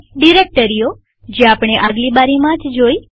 ડિરેક્ટરીઓજે આપણે આગલી બારીસ્લાઈડમાં જોઈ